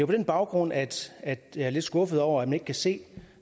på den baggrund at at jeg er lidt skuffet over at man ikke kan se